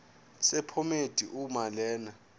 sephomedi uma lena